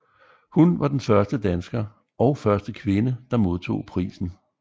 Hun var den første dansker og første kvinde der modtog prisen